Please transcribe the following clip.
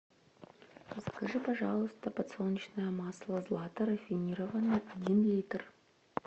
закажи пожалуйста подсолнечное масло злата рафинированное один литр